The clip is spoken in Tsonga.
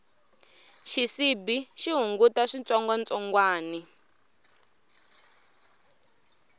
xisibi xi hunguta switsongwatsongwani